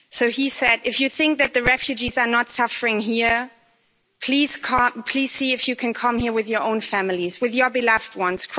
He said If you think that the refugees are not suffering here, please see if you can come here with your own families, with your beloved ones.